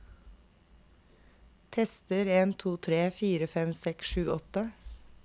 Tester en to tre fire fem seks sju åtte